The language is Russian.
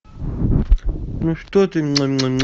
ну что ты